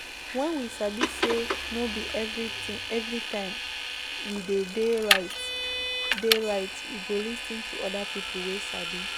When we sabi sey no be every time we de dey right dey right we go lis ten to oda pipo wey sabi